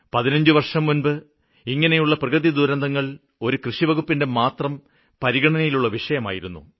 പതിനഞ്ച് വര്ഷം മുന്പ് ഇങ്ങനെയുള്ള പ്രകൃതിദുരന്തങ്ങള് കൃഷി വകുപ്പിന്റെമാത്രം പരിഗണനയിലുള്ള വിഷയമായിരുന്നു